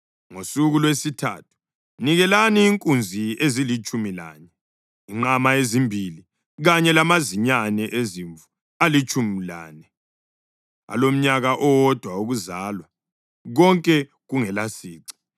Ngosuku lwesithathu nikelani inkunzi ezilitshumi lanye, inqama ezimbili kanye lamazinyane ezimvu alitshumi lane alomnyaka owodwa wokuzalwa, konke kungelasici.